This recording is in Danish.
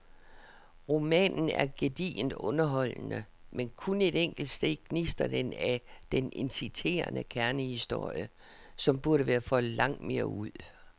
Romanen er gedigent underholdende, men kun et enkelt sted gnistrer den af den inciterende kernehistorie, som burde være foldet langt mere ud.